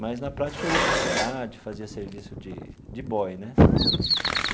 Mas, na prática, eu ia para a cidade, fazia serviço de de boy né.